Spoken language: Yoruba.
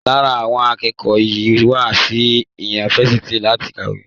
Lára àwọn akẹ́kọ̀ọ́ yìí wá sí yunifásitì láti kàwé.